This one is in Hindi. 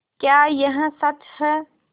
क्या यह सच है